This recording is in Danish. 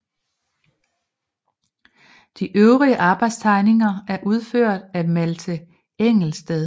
De øvrige arbejdstegninger er udført af Malthe Engelsted